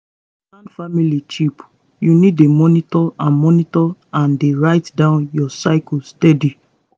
to plan family cheap you need dey monitor and monitor and dey write down your cycle steady.